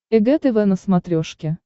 эг тв на смотрешке